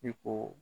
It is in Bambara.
Ne ko